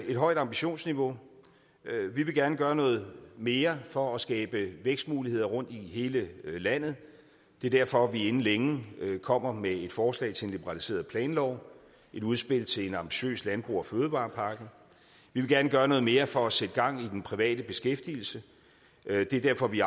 et højt ambitionsniveau vi vil gerne gøre noget mere for at skabe vækstmuligheder rundt i hele landet det er derfor at vi inden længe kommer med et forslag til en liberaliseret planlov et udspil til en ambitiøs landbrugs og fødevarepakke vi vil gerne gøre noget mere for at sætte gang i den private beskæftigelse det er derfor at vi